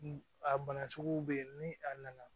A bana sugu bɛ yen ni a nana